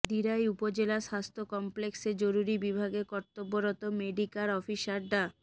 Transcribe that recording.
দিরাই উপজেলা স্বাস্থ্য কমপ্লেক্সে জরুরি বিভাগে কর্তব্যরত মেডিক্যার অফিসার ডা